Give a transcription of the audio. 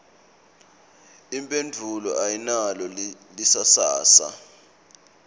imphendvulo ayinalo lisasasa